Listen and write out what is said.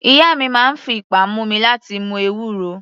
Ìyá mi máa ń fi ipá mú mi láti mu ewúro.